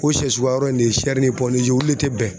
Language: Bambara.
O sɛ suguya yɔrɔ in ne ye ye ulu le tɛ bɛn.